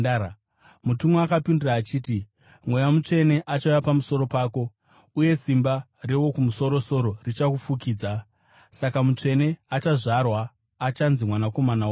Mutumwa akapindura achiti, “Mweya Mutsvene achauya pamusoro pako, uye simba reWokumusoro-soro richakufukidza. Saka mutsvene achazvarwa achanzi Mwanakomana waMwari.